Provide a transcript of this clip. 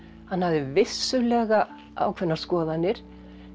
hann hafði vissulega ákveðnar skoðanir